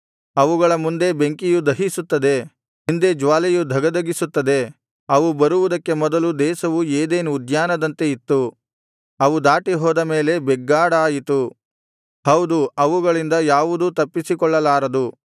ಅವುಗಳ ಮುಂದೆ ಬೆಂಕಿಯು ದಹಿಸುತ್ತದೆ ಹಿಂದೆ ಜ್ವಾಲೆಯು ಧಗಧಗಿಸುತ್ತದೆ ಅವು ಬರುವುದಕ್ಕೆ ಮೊದಲು ದೇಶವು ಏದೆನ್ ಉದ್ಯಾನದಂತೆ ಇತ್ತು ಅವು ದಾಟಿಹೋದ ಮೇಲೆ ಬೆಗ್ಗಾಡಾಯಿತು ಹೌದು ಅವುಗಳಿಂದ ಯಾವುದೂ ತಪ್ಪಿಸಿಕೊಳ್ಳಲಾರದು